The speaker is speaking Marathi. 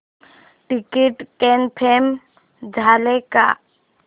टिकीट कन्फर्म झाले का